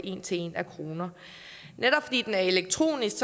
en til en af kroner netop fordi den er elektronisk